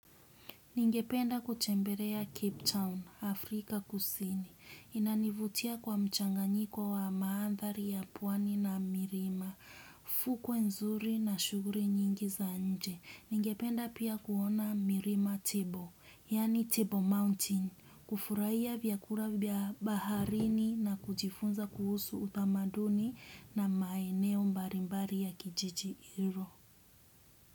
Ningependa kutembelea Cape Town, Afrika kusini. Inanivutia kwa mchanganyiko wa mandhari ya pwani na milima. Fukwe nzuri na shughuli nyingi za nje. Ningependa pia kuona milima Table, yaani Table Mountain. Kufurahia vyakula vya baharini na kujifunza kuhusu utamaduni na maeneo mbalimbali ya kijiji hicho.